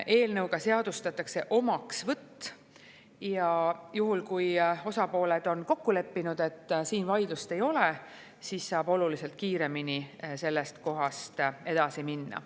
Eelnõuga seadustatakse omaksvõtt ja juhul, kui osapooled on kokku leppinud, et mõnes asjas vaidlust ei ole, siis saab oluliselt kiiremini sellest kohast edasi minna.